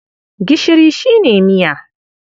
Gishiri shi ne miya.